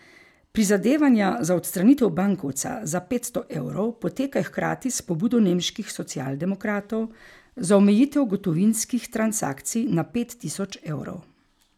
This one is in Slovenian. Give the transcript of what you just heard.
Prizadevanja za odstranitev bankovca za petsto evrov potekajo hkrati s pobudo nemških socialdemokratov za omejitev gotovinskih transakcij na pet tisoč evrov.